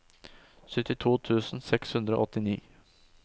syttito tusen seks hundre og åttini